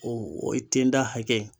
O o ye tenda hakɛ ye